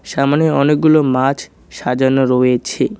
সামনে অনেকগুলো মাছ সাজানো রয়েছে।